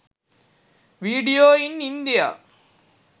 video in india